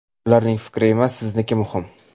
Ularning fikri emas, sizniki muhim.